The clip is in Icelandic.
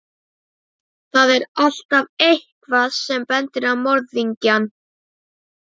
Hagkvæmniathugun sýndi að þetta svæði gæti verið álitlegur kostur.